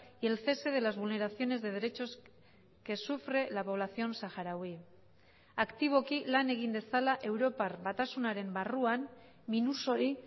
y el cese de las vulneraciones de derechos que sufre la población saharaui aktiboki lan egin dezala europar batasunaren barruan minus hori